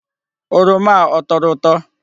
Oroma a ọ tọrọ ụtọ?